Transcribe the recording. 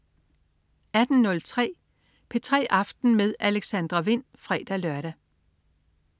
18.03 P3 aften med Alexandra Wind (fre-lør)